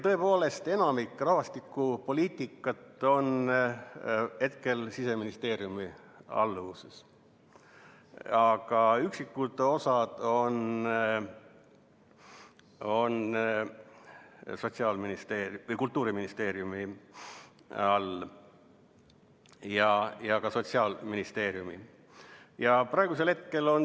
Tõepoolest, enamik rahvastikupoliitikast on Siseministeeriumi alluvuses, aga üksikud osad on Sotsiaalministeeriumi või Kultuuriministeeriumi alluvuses.